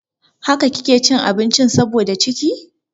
Haka kike cin abinci saboda da ciki?